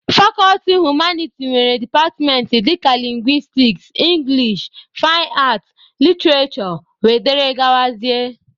Fakọlti humaniti nwere departmentị dịka lingwistiks, english, fain aat, literishure wdg.